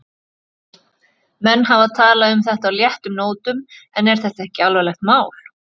Björn: Menn hafa talað um þetta á léttum nótum en er þetta ekki alvarlegt mál?